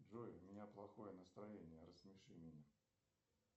джой у меня плохое настроение рассмеши меня